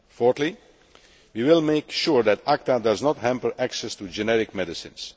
Fourthly, we will make sure that ACTA does not hamper access to generic medicines.